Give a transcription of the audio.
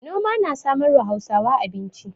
Noma na samarwa Hausawa abinci.